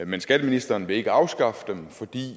men skatteministeren vil ikke afskaffe dem fordi